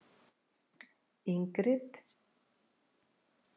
Ingrid